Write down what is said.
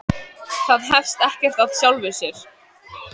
Það hefst ekkert af sjálfu sér.